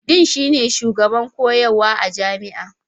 Dean shine shugaban koyarwa a jami'a.